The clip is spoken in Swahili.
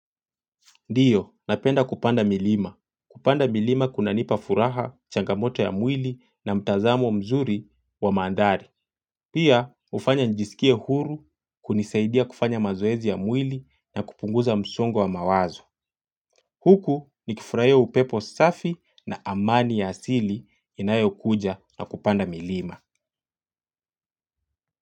Ndiyo, napenda kupanda milima. Kupanda milima kunanipa furaha changamoto ya mwili na mtazamo mzuri wa mandhari. Pia, ufanya njisikie huru, kunisaidia kufanya mazoezi ya mwili na kupunguza msongo wa mawazo. Huku, nikifuraia upepo safi na amani ya asili inayo kuja na kupanda milima.